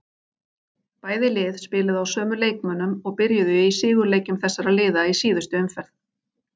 Bæði lið spiluðu á sömu leikmönnum og byrjuðu í sigurleikjum þessara liða í síðustu umferð.